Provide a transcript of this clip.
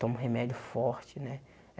Tomo remédio forte, né?